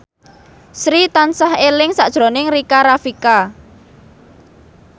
Sri tansah eling sakjroning Rika Rafika